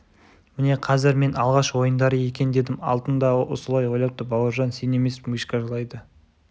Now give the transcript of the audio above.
міне қазір мен алғаш ойындары екен дедім алтын да солай ойлапты бауыржан сен емес мишка жылайды